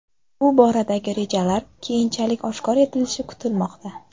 Bu boradagi rejalar keyinchalik oshkor etilishi kutilmoqda.